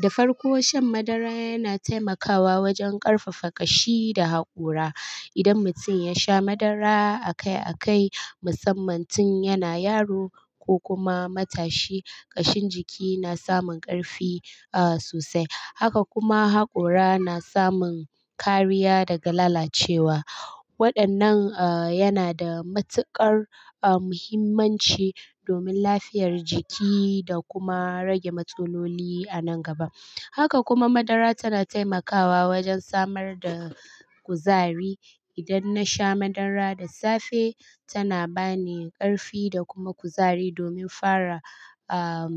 Da farko shan madara yana taimakawa wajen ƙarfafa ƙashi da haƙora. Idan mutum yasha madara akai akai, musamman tun yana yaro ko kuma matashi, ƙashin jiki na samun ƙarfi, ah, sosai. Haka kuma haƙora na samun kariya daga lalacewa. Waɗannan, ah, yana da matuƙar, ah, muhimmanci domin lafiyar jiki da kuma rage matsaloli a nan gaba. Haka kuma madara tana taimakawa wajen samar da kuzari. Idan nasha madara da safe, tana ba ni ƙarfi da kuma kuzari domin fara, ah,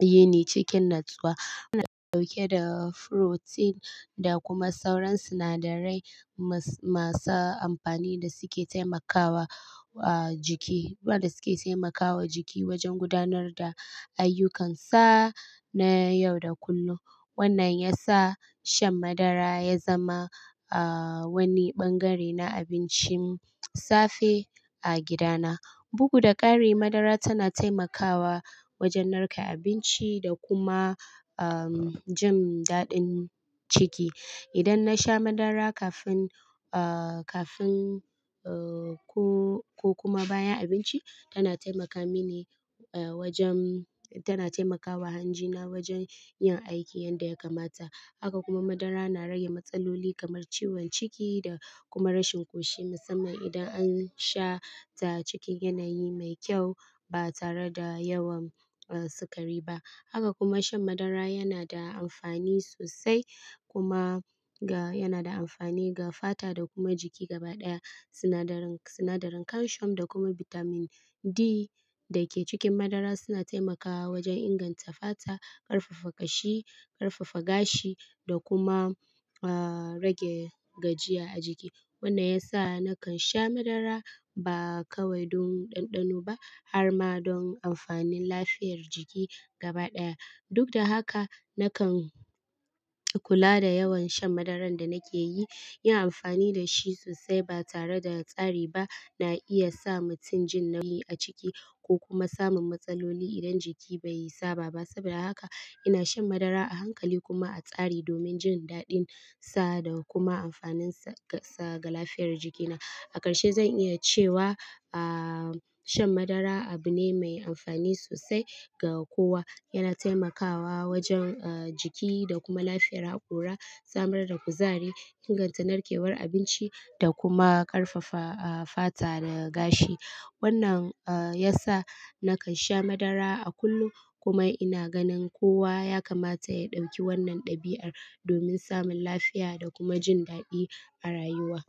yini cikin natsuwa. Tana ɗauke da furotin da kuma sauran sinadarai mas-masa amfani da suke taimakawa, ah, jiki, waɗanda suke taimakawa jiki wajen gudanar da ayyukansa, na yau da kullum. Wannan yasa shan madara ya zama, ah, wani bangare na abincin safe a gidana. Bugu da ƙari madara tana taimakawa wajen narke abinci da kuma, ah, jin daɗin ciki. Idan nasha madara kafin, ah, kafin, ah, ko, ko kuma bayan abinci, tana taimaka mini, ah, wajen-- tana taimakawa hanjina wajen yin aiki yadda ya kamata. Haka kuma madara na rage matsaloli kamar ciwon ciki da kuma rashin ƙoshi musamman idan ansha ta cikin yanayi mai ƙyau ba tare da yawan, ah, sukari ba. Haka kuma shan madara yanada amfani sosai kuma ga-- yana da amfani ga fata da kuma jiki gabaɗaya. Sinadarin, sinadarin calcium da kuma bitamin D dake cikin madara suna taimakawa wajen inganta fata, ƙarfafa ƙashi, ƙarfafa gashi da kuma, ah, rage gajiya a jiki. Wannan yasa nakan sha madara ba kawai don ɗanɗano ba harma don amfanin lafiyar jiki gabaɗaya. Dukda haka, nakan kula da yawan shan madaran da nake yi. Ina amfani dashi sosai ba tare da tsari ba na iyasa mutum jin nauyi a ciki ko kuma samun matsaloli idan jiki bai saba ba. Saboda haka ina shan madara a hankali kuma a tsari domin jin daɗin sa da kuma amfanin sa ga, ga lafiyar jikina. A ƙarshe zan iya cewa, ah, shan madara abu ne mai amfani sosai ga kowa. Yana taimakawa wajen, ah, jiki da kuma lafiyar haƙora, samar da kuzari, inganta narkewar abinci da kuma ƙarfafa, ah, fata da gashi. Wannan, ah, yasa nakan sha madara a kullum kuma ina ganin kowa ya kamata ya ɗauki wannan ɗabi'ar domin samun lafiya da kuma jin daɗi a rayuwa.